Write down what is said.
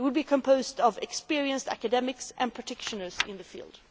It will be composed of experienced academics and practitioners in the field.